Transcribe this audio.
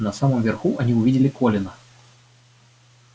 на самом верху они увидели колина